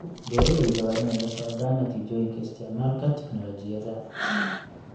Beeralayda waa inay la socdaan natiijooyinka isticmaalka tignoolajiyada.